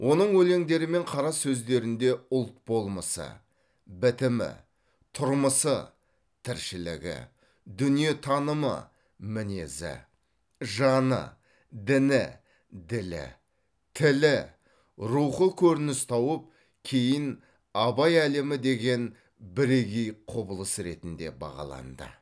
оның өлеңдері мен қара сөздерінде ұлт болмысы бітімі тұрмысы тіршілігі дүниетанымы мінезі жаны діні ділі тілі рухы көрініс тауып кейін абай әлемі деген бірегей құбылыс ретінде бағаланды